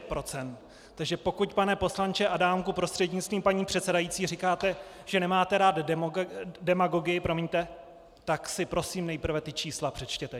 Takže pokud, pane poslanče Adámku prostřednictvím paní předsedající, říkáte, že nemáte rád demagogii, tak si prosím nejprve ta čísla přečtěte.